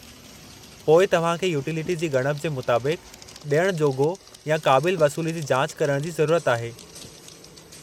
पोइ तव्हां खे यूटिलिटी जी ॻणप जे मुताबिक़ु ॾियणु जोॻो या क़ाबिल वसूली जी जांच करणु जी ज़रुरत आहे।